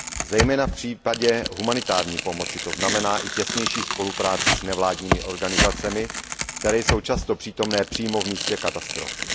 Zejména v případě humanitární pomoci to znamená i těsnější spolupráci s nevládními organizacemi, které jsou často přítomné přímo v místě katastrofy.